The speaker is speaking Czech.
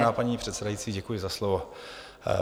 Vážená paní předsedající, děkuji za slovo.